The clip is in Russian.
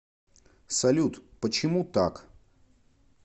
салют почему так